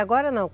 Agora não?